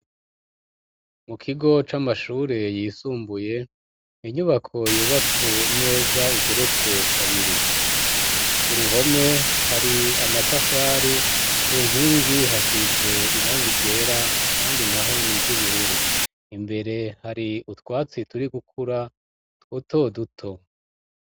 Mu kigo c'amashure yisumbuye inyubako yubatse neza igeretse kabiri. Ku ruhome hari amatafari ku nkingi hasize irang igera handi naho niry'ubururu, imbere hari utwatsi turi gukura duto duto.